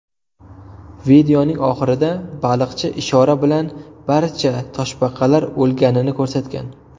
Videoning oxirida baliqchi ishora bilan barcha toshbaqalar o‘lganini ko‘rsatgan.